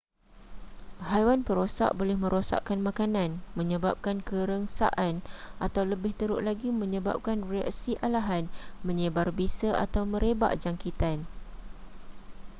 haiwan perosak boleh merosakkan makanan menyebabkan kerengsaan atau lebih teruk lagi menyebabkan reaksi alahan menyebar bisa atau merebak jangkitan